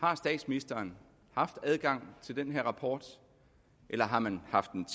har statsministeren haft adgang til den her rapport eller har man haft den